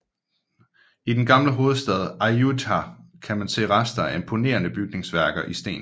I den gamle hovedstad Ayutthaya kan man se rester af imponerende bygningsværker i sten